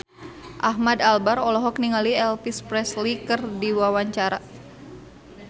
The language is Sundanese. Ahmad Albar olohok ningali Elvis Presley keur diwawancara